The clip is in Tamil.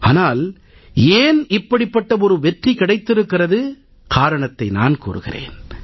ஆனால் ஏன் இப்படிப்பட்ட ஒரு வெற்றி கிடைத்திருக்கிறது காரணத்தை நான் கூறுகிறேன்